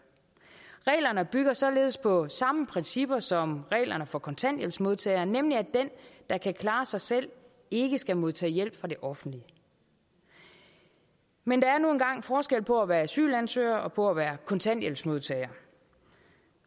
reglerne bygger således på samme principper som reglerne for kontanthjælpsmodtagere nemlig at den der kan klare sig selv ikke skal modtage hjælp fra det offentlige men der er nu engang forskel på være asylansøger og på at være kontanthjælpsmodtager